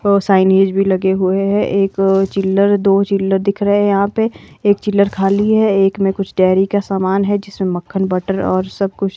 और साइनीज भी लगे हुए हैं एक चिल्लर दो चिल्लर दिख रहे हैं यहां पे एक चिल्लर खाली है एक में कुछ डेहरी का सामान है जिसमें मक्खन बटर और सब कुछ--